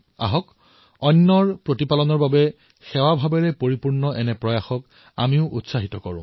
আহক আনৰ কল্যাণৰ বাবে সেৱাভাবেৰে এই প্ৰকাৰৰ প্ৰয়াসক উৎসাহিত কৰো